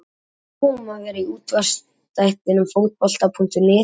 Það verður nóg um að vera í útvarpsþættinum Fótbolta.net í dag.